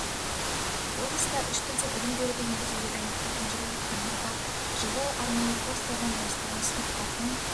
облыста үш тілде білім беруді енгізуге дайындықтардың жүріп жатқанын атап жылы арнайы курстардан бастауын сыныптардың